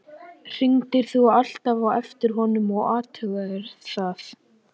Hringdir þú alltaf á eftir honum og athugaðir það?